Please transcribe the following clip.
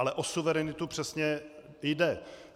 Ale o suverenitu přesně jde.